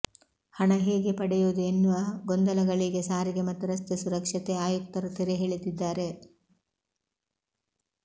ಹಣ ಹೇಗೆ ಪಡೆಯುವುದು ಎನ್ನುವ ಗೊಂದಲಗಳಿಗೆ ಸಾರಿಗೆ ಮತ್ತು ರಸ್ತೆ ಸುರಕ್ಷತೆ ಆಯುಕ್ತರು ತೆರೆ ಎಳೆದಿದ್ದಾರೆ